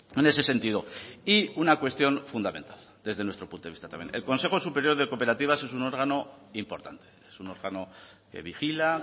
en ese sentido y una cuestión fundamental desde nuestro punto vista también el consejo superior de cooperativas es un órgano importante es un órgano que vigila